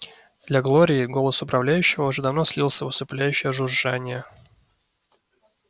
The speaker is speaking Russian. для глории голос управляющего уже давно слился в усыпляющее жужжание